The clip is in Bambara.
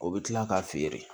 O bɛ kila k'a feere